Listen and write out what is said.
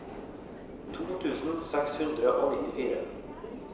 to tusen seks hundre og nittifire